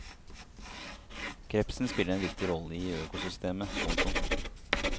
Krepsen spiller en viktig rolle i økosystemet. punktum